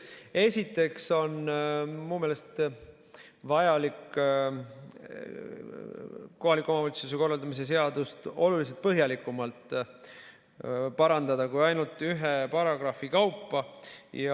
Esiteks on minu meelest vajalik kohaliku omavalitsuse korralduse seadust oluliselt põhjalikumalt parandada kui ainult ühe paragrahvi kaupa.